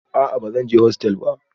A'a ba zan je hostel ba